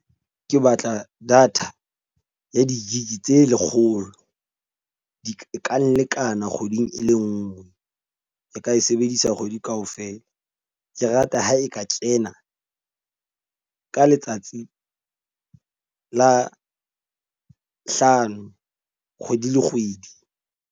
Ke batla data ya di-gig tse lekgolo. Di ka lekana kgweding e le nngwe. E ka e sebedisa kgwedi ka ofela. Ke rata ho e ka tjena ka letsatsi la hlano kgwedi le kgwedi.